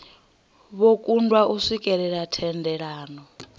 vho kundwa u swikelela thendelano